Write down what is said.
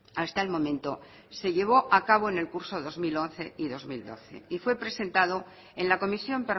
hasta el momento se llevó acabo en el curso dos mil once y dos mil doce y fue presentado en la comisión